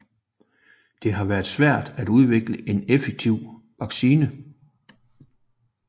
Det har været svært at udvikle en effektiv vaccine